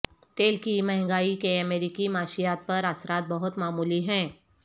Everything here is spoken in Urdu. تیل کی مہنگائی کے امریکی معیشت پر اثرات بہت معمولی ہیں